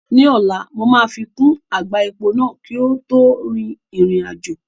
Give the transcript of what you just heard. Ní ọ̀la, mo máa fi kún àgbá epo náà kí a tó rin ìrìn àjò